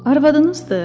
Arvadınızdır?